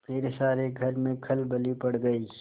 फिर सारे घर में खलबली पड़ गयी